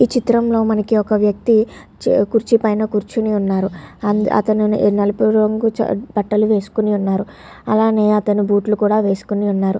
ఈ చిత్రంలో మనకు ఒక వ్యక్తి కుర్చీ పైన కూర్చొని ఉన్నారు. అతడు నలుపు రంగు బట్టలు వేసుకుని ఉన్నారు. అలాగే అతను బూట్లు కూడా వేసుకొని ఉన్నారు.